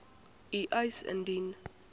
u eis indien